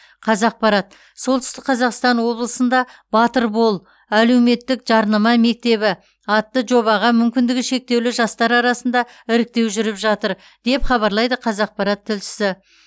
қазақпарат солтүстік қазақстан облысында батыр бол әлеуметтік жарнама мектебі атты жобаға мүмкіндігі шектеулі жастар арасында іріктеу жүріп жатыр деп хабарлайды қазақпарат тілшісі